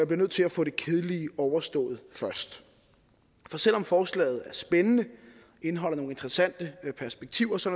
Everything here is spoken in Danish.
bliver nødt til at få det kedelige overstået først for selv om forslaget er spændende og indeholder nogle interessante perspektiver så